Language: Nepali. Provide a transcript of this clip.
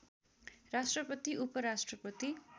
राष्‍ट्रपति उप राष्‍ट्रपति